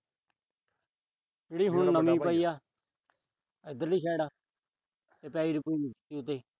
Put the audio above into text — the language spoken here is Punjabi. ਜਿਹੜੀ ਹੁਣ ਨਵੀਂ ਪਾਈ ਆ। ਇਧਰਲੀ side